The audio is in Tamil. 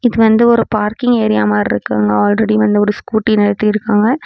இது வந்து ஒரு பார்க்கிங் ஏரியா மாரிருக்கு அங்க ஆல்ரெடி வந்து ஒரு ஸ்கூட்டி நிறுத்திருக்காங்க.